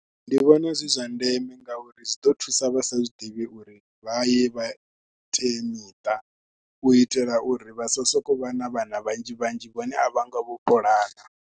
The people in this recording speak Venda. Ndi vhona zwi zwa ndeme ngauri zwi ḓo thusa vha sa zwi ḓivhi uri vha ye vha, vhuteamiṱa u itela uri vha sa sokou vha na vhana vhanzhi vhanzhi vhane a vha ngo vha puḽana.